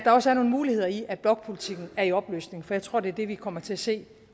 også er nogle muligheder i at blokpolitikken er i opløsning for jeg tror det er det vi kommer til at se